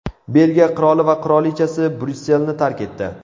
Belgiya qiroli va qirolichasi Bryusselni tark etdi.